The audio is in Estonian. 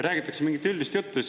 Räägitakse mingit üldist juttu.